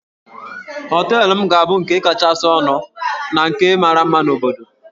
Hóteélụ̀ m ga-abụ nke kachasị ọnụ na nke mara mma na obodo